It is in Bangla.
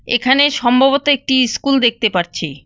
এখানে সম্ভবত একটি ইস্কুল দেখতে পারছি।